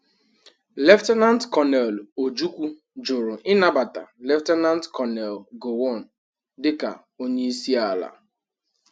Lt. Col. Ojukwu juru ịnabata Lt. Col Gowon dịka onye isi ala.